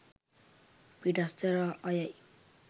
පිටස්තර අයයි.